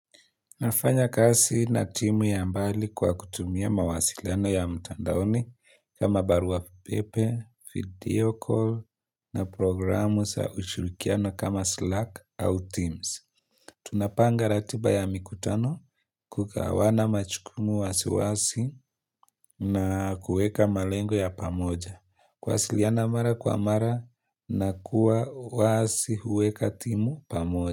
Nafanya kazi na timu ya mbali kwa kutumia mawasiliano ya mtandaoni kama barua pepe, video call, na programu za ushirikiano kama slark au teams. Tunapanga ratiba ya mikutano kugawana majukumu wazi wazi na kuweka malengo ya pamoja. Kuwasiliana mara kwa mara na kuwa wazi huweka timu pamoja.